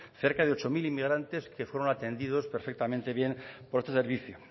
cerca de ocho mil inmigrantes que fueron atendidos perfectamente bien por este servicio